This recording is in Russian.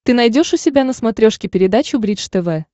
ты найдешь у себя на смотрешке передачу бридж тв